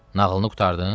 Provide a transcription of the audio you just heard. Nağılını qurtardın?